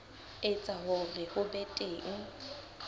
etsa hore ho be teng